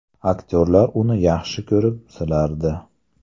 Aktyorlar uni yaxshi ko‘rib, silardi.